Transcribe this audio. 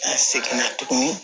An seginna tuguni